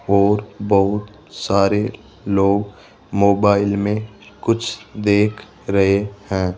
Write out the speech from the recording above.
और बहुत सारे लोग मोबाइल में कुछ देख रहे हैं।